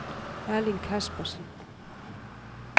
Erling Kaspersen